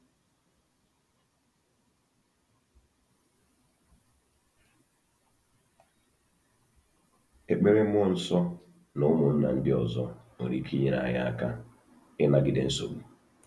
Ekpere, mmụọ nsọ, na ụmụnna ndị ọzọ nwere ike inyere anyị aka ịnagide nsogbu.